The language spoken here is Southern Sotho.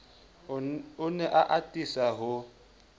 o ne a atisa ho